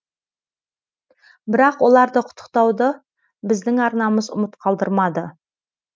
бірақ оларды құттықтауды біздің арнамыз ұмыт қалдырмады